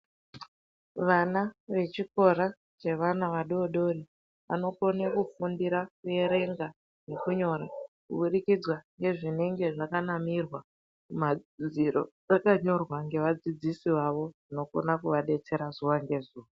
Vana vechikora chevana vadodori vanokone kufundira kuerenga ngekunyora kubudikidzwa ngezvinenge zvakanamirwa kumadziro zvakanyorwa ngevadzidzisi vavo zvinokona kuvabetsera zuva ngezuva .